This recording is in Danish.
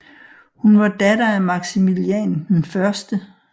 Hun var datter af Maximilian 1